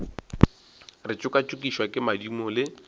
re tšokatšokišwa ke madimo le